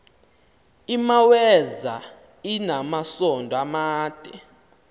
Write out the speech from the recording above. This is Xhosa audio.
imaweza inamasond amade